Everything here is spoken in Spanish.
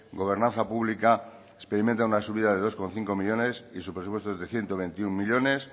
gobernanza pública experimenta una subida de dos coma cinco millónes y su presupuesto es de ciento veintiuno millónes